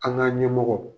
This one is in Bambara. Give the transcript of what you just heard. An ka ɲɛmɔgɔ